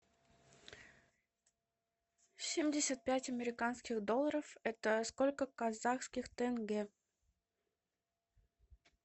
семьдесят пять американских долларов это сколько казахских тенге